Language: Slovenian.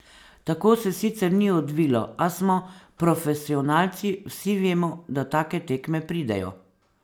Tako se sicer ni odvilo, a smo profesionalci, vsi vemo, da take tekme pridejo.